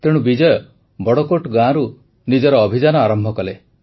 ତେଣୁ ବିଜୟ ବଡ଼କୋଟ ଗାଁରୁ ନିଜର ଅଭିଯାନ ଆରମ୍ଭ କଲେ